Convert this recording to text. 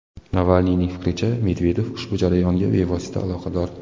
Navalniyning fikricha, Medvedev ushbu jarayonlarga bevosita aloqador.